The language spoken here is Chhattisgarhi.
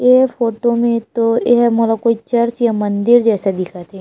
ए फोटो में तो एह मोला कोई चर्च या मंदिर जैसा दिखत हे।